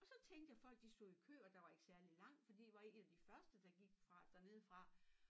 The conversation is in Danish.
Og så tænkte jeg folk de stod i kø og der var ikke særligt langt fordi jeg var ik en af de første derfra dernede fra